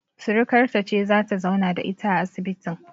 Sirikarta ce zata zauna da ita a asibitin